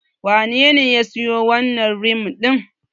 Wanene ya siyo wannan rim din?